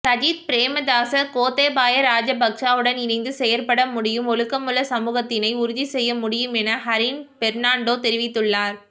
சஜித் பிரேமதாச கோத்தபாய ராஜபக்சவுடன் இணைந்து செயற்பட முடியும் ஒழுக்கமுள்ள சமூகத்தினை உறுதிசெய்ய முடியும் என ஹரீன் பெர்ணான்டோ தெரிவித்துள்ளார்